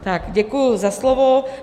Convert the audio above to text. Tak děkuji za slovo.